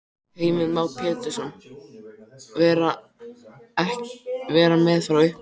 Heimir Már Pétursson: Vera með frá upphafi?